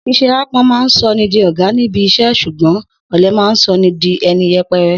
S̩ís̩e aápo̩n máa ń so̩ni di ò̩gá níbi is̩é̩ s̩ùgbó̩n ò̩le̩ máa ń so̩ni di e̩ni ye̩pe̩re̩